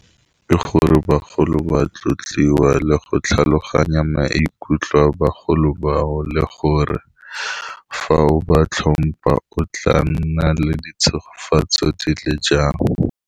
Ke gore bagolo ba tlotliwa le go tlhaloganya maikutlo a bagolo bao le gore fa o ba tlhompa o tla nna le ditshogofetso di le jang.